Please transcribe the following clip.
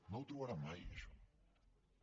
no ho trobarà mai això